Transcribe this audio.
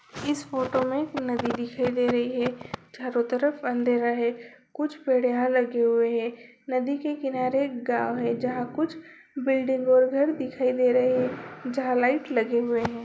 इस फोटो में नदी दिखाई दे रही है चारों तरफ अँधेरा है कुछ पेड़ यहाँ लगे हुए हैं नदी के किनारे एक गाँव है जहाँ कुछ बिल्डिंग और घर दिखाई दे रहे हैं जहाँ लाइट लगी हुई है।